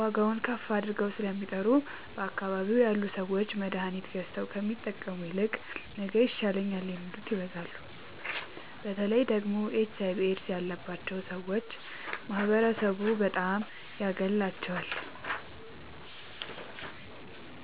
ዋጋዉን ከፍ አድርገዉ ስለሚጠሩ በአካባቢዉ ያሉ ሠዎች መድሀኒት ገዝተዉ ከሚጠቀሙ ይልቅ ነገ ይሻለኛል የሚሉት ይበዛሉ። በተለይ ደግሞ ኤች አይቪ ኤድስ ያባቸዉ ሠዎች ማህበረሡ በጣም ያገላቸዋል።